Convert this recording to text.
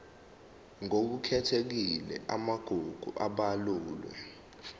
ngokukhethekile amagugu abalulwe